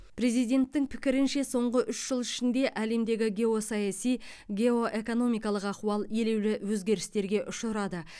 президенттің пікірінше соңғы үш жыл ішінде әлемдегі геосаяси геоэкономикалық ахуал елеулі өзгерістерге ұшырады